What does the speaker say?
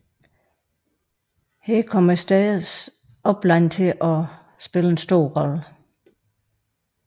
Her kom stædernes oplande til at spille en stor rolle